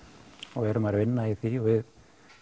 og erum að vinna í því og við